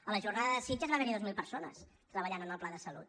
a la jornada de sitges va haver hi dues mil persones treballant en el pla de salut